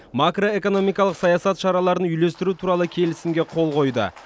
макроэкономикалық саясат шараларын үйлестіру туралы келісімге қол қойды